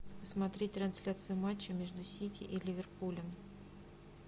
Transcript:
смотреть трансляцию матча между сити и ливерпулем